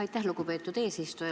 Aitäh, lugupeetud eesistuja!